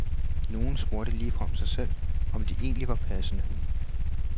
Nogle spurgte ligefrem sig selv, om det egentlig var passende.